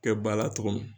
Kɛ bala cogo min